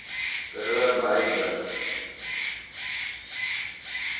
karoo murrayburg